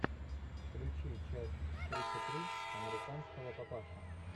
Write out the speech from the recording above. включи часть тридцать три американского папаши